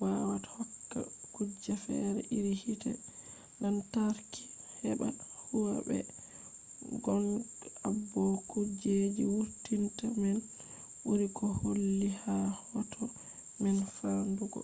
wawata hokka kuje fere iri hite lantarki heɓa huwa. be gong abo kujeji wurtinta man ɓuri ko holli ha hoto man famɗugo